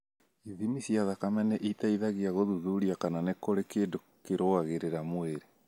Ithimi cia thakame nĩ iteithagia gũthuthuria kana nĩ kũrĩ kĩndũ kĩrũagĩrĩra mwĩrĩ.